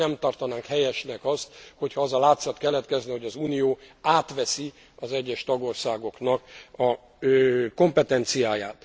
Nem tartanánk helyesnek azt, hogy ha az a látszat keletkezne, hogy az Unió átveszi az egyes tagországoknak a kompetenciáját.